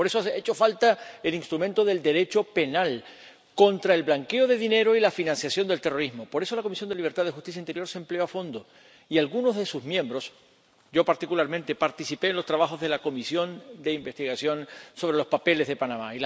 Por eso, ha hecho falta el instrumento del Derecho penal contra el blanqueo de dinero y la financiación del terrorismo. Por eso, la Comisión de Libertades Civiles, Justicia y Asuntos de Interior se empleó a fondo y algunos de sus miembros, yo particularmente, participamos en los trabajos de la comisión de investigación sobre los papeles de Panamá.